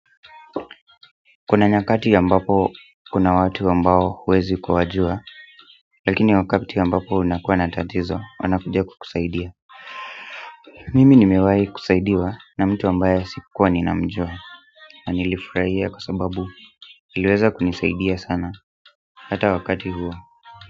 Kuna nyakati ambapo kuna watu ambao huwezi kuwajua lakini wakati ambapo unakuwa na tatizo wanakuja kukusaidia mimi nimewahi kusaidiwa na mtu ambaye sikuwa ninamjua nilifurahia kwa sababu aliweza kunisaidia sana, hata wakati huo.